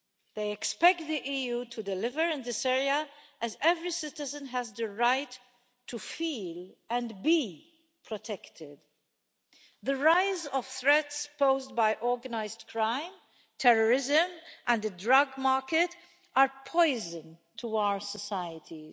They expect the EU to deliver in this area as every citizen has the right to feel and be protected. The rise of threats posed by organised crime, terrorism and the drug market are poison to our societies.